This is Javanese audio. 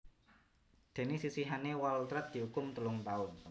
Déné sisihane Waltrat diukum telung taun